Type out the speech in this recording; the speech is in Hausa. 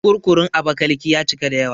Kurkurun Abakiliki ya cika da yawa